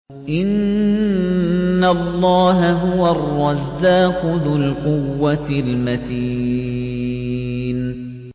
إِنَّ اللَّهَ هُوَ الرَّزَّاقُ ذُو الْقُوَّةِ الْمَتِينُ